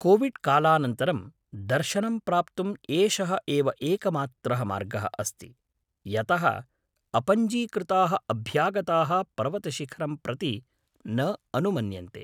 COVID कालानन्तरं, दर्शनं प्राप्तुं एषः एव एकमात्रः मार्गः अस्ति, यतः अपञ्जीकृताः अभ्यागताः पर्वतशिखरं प्रति न अनुमन्यन्ते।